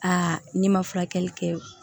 Aa ne ma furakɛli kɛ